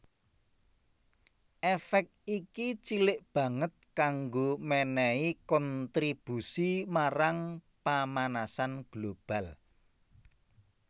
Èfèk iki cilik banget kanggo mènèhi kontribusi marang pamanasan global